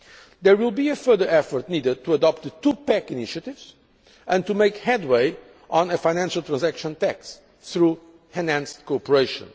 it. There will be a further effort needed to adopt the two pack initiatives and to make headway on a financial transaction tax through enhanced cooperation.